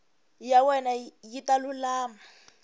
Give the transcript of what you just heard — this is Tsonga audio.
ya wena yi ta lulama